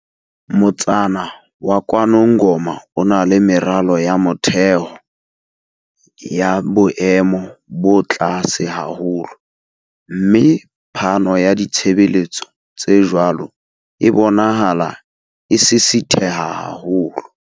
Motsana wa KwaNongoma o na le meralo ya motheo ya boemo bo tlase haholo, mme phano ya ditshebeletso tse jwalo e bonahala e sisitheha haholo.